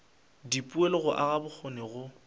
dipoelo go aga bokgoni go